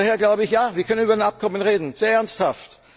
Daher sage ich Ja, wir können über ein Abkommen reden, sehr ernsthaft.